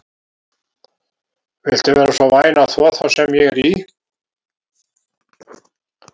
Viltu vera svo væn að þvo þá sem ég er í?